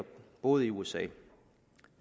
boet i usa